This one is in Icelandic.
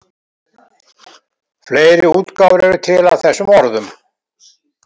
Fleiri útgáfur eru til af þessum orðum.